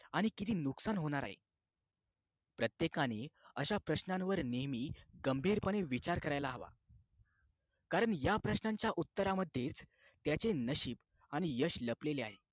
आणि किती नुकसान होणार आहे प्रत्येकाने अशा प्रश्नांवर नेहमी गंभीरपणे विचार करायला हवा कारण या प्रश्नांच्या उत्तरांमध्येच त्याचे नशीब आणि यश लपलेले आहे